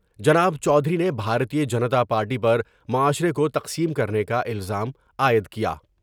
جناب چودھری نے بھارتیہ جنتا پارٹی پر معاشرے کو تقسیم کرنے کا الزام عائد کیا ۔